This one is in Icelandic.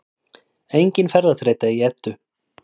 Engin ferðaþreyta í Eddu